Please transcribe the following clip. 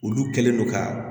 Olu kɛlen don ka